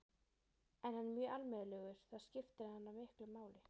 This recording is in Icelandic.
En hann er mjög almennilegur, það skiptir hana miklu máli.